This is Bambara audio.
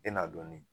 E n'a dɔnni